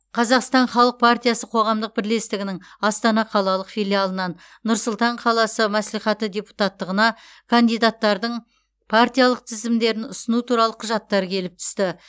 қазақстан халық партиясы қоғамдық бірлестігінің астана қалалық филиалынан нұр сұлтан қаласы мәслихаты депутаттығына кандидаттардың партиялық тізімдерін ұсыну туралы құжаттар келіп түсті